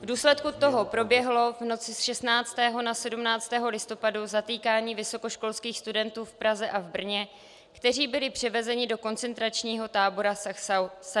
V důsledku toho proběhlo v noci z 16. na 17. listopad zatýkání vysokoškolských studentů v Praze a v Brně, kteří byli převezeni do koncentračního tábora Sachsenhausen.